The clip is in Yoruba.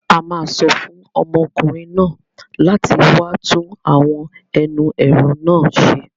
A máa sọ fún ọmọkùnrin náà láti wá tún àwọn ẹnu ẹ̀rọ náà ṣe.